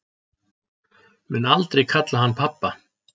Mun aldrei kalla hann pabba